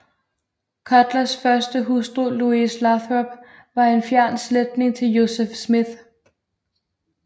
Cutlers første hustru Lois Lathrop var en fjern slægtning til Joseph Smith